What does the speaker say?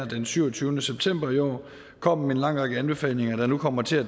den syvogtyvende september i år kom med en lang række anbefalinger der nu kommer til at